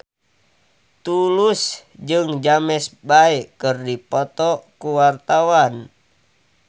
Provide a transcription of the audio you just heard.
Tulus jeung James Bay keur dipoto ku wartawan